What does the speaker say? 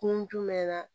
Kun jumɛn na